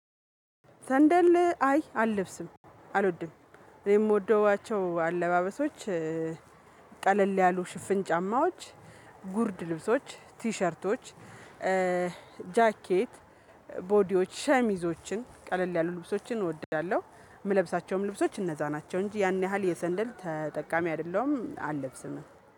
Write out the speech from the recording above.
ሰንደል አይ አልለብስም አልወድም። እኔ የምወደውአቸው አለባበሶች። ቀለል ያሉ ሽፍን ጫማዎች። ጉርድ ልብሶች ቲሸርቶች። ጃኬት ቦዲዎች ሸሚዞችን ቀለል ያሉ ልብሶችን እወዳለሁ። የምለብሳቸውም ልብሶች እነዛ ናቸው እንጂ ያን ያህል የሰንደል ተጠቃሚ አይደለም። አልለብስም